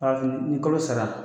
ni kolo sara